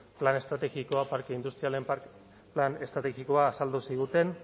plan estrategikoak parke industrialen plan estrategikoa azaldu ziguten